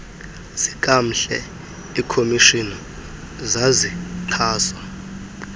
zikamhle ikhomishina zazixhaswa